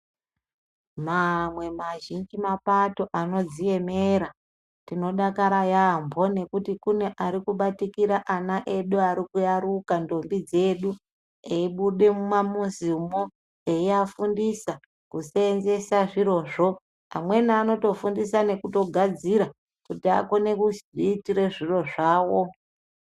Mamwe mazhinji mapato anodziemera, tinodakara yaamho ngekuti kune arikubatikira ana edu arikuyaruka, ndombi dzedu, eibude mumamizimo, eiafundisa kuseenzesa zvirozvo. Amweni anotofundisa nekutogadzira, kuti akone kuzviitira zviro zvawo.